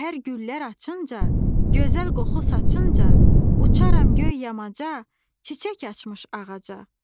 Səhər güllər açınca, gözəl qoxu saçınca, uçaram göy yamaca, çiçək açmış ağaca.